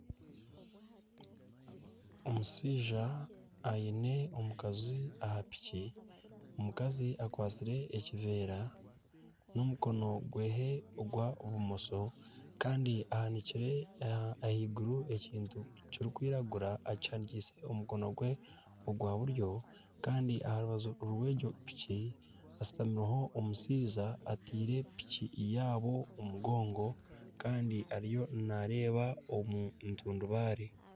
Omushaija aine omukazi aha piiki, omukazi akwatsire ekiveera n'omukono gwe ogwa bumosha kandi ahanikire ekintu ahaiguru ekintu ekirikwiragura akihanikyise omukono gwe ogwa buryo kandi aha rubaju rw'egyo piiki hashutamiho omushaija ataire piiki yaabo omugongo kandi ariyo naareeba omu ntundubare